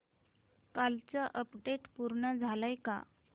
कालचं अपडेट पूर्ण झालंय का